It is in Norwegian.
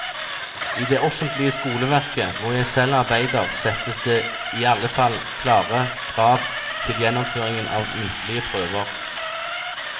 I det offentlige skoleverket, hvor jeg selv arbeider, settes det i alle fall klare krav til gjennomføringen av muntlige prøver.